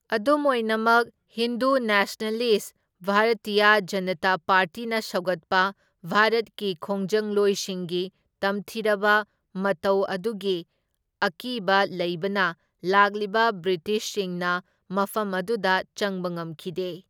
ꯑꯗꯨꯝ ꯑꯣꯏꯅꯃꯛ, ꯍꯤꯟꯗꯨ ꯅꯦꯁꯅꯦꯂꯤꯁꯠ ꯚꯥꯔꯇꯤꯌꯥ ꯖꯅꯇꯥ ꯄꯥꯔꯇꯤꯅ ꯁꯧꯒꯠꯄ ꯚꯥꯔꯠꯀꯤ ꯈꯣꯡꯖꯪꯂꯣꯏꯁꯤꯡꯒꯤ ꯇꯝꯊꯤꯔꯕ ꯃꯇꯧ ꯑꯗꯨꯒꯤ ꯑꯀꯤꯕ ꯂꯩꯕꯅ ꯂꯥꯛꯂꯤꯕ ꯕ꯭ꯔꯤꯇꯤꯁꯁꯤꯡꯅ ꯃꯐꯝ ꯑꯗꯨꯗ ꯆꯪꯕ ꯉꯝꯈꯤꯗꯦ꯫